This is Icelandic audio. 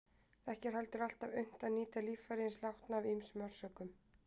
Ekki er heldur alltaf unnt að nýta líffæri hins látna af ýmsum orsökum.